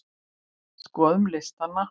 Skoðum listann!